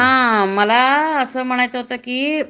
हा मला अस म्हणायचं होत कि